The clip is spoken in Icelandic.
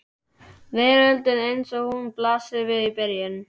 Veröldin eins og hún blasir við í byrjun.